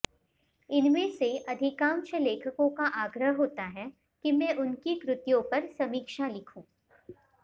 इनमें से अधिकांश लेखकों का आग्रह होता है कि मैं उनकी कृतियों पर समीक्षा लिखूं